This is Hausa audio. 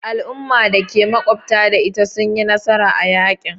Al'ummar da ke makwabtaka da ita sun yi nasara a yakin.